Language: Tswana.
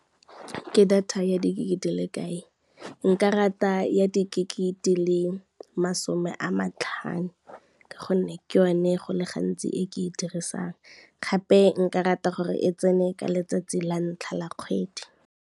Ke data ya di-gig di le kae, nka rata ya di-gig di le masome a matlhano ka gonne ke yone go le gantsi e ke e dirisang, gape nka rata gore e tsene ka letsatsi la ntlha la kgwedi.